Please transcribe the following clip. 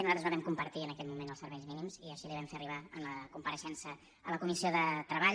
nosaltres no vam compartir en aquell moment els serveis mínims i així li ho vam fer arribar en la compareixença a la comissió de treball